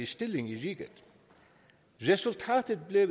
stilling i riget resultatet blev